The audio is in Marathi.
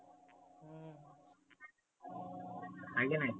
हाय की नाही.